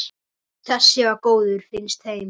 Þessi var góður, finnst þeim.